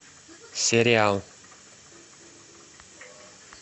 сериал